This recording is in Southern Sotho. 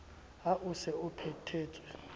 ha o se o phethetse